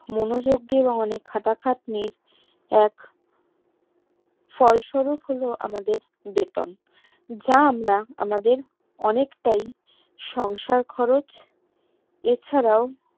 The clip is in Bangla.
মনোযোগ দিয়ে বা অনেক খাটা খাটনির এক ফল শরিক হলো আমাদের বেতন যা আমরা আমাদের অনেক তাই সংসার খরচ এছাড়াও